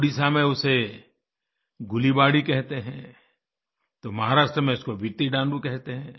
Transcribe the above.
उड़ीसा में उसे गुलिबाड़ी कहते हैं तो महाराष्ट्र में इसे वित्तिडालू कहते हैं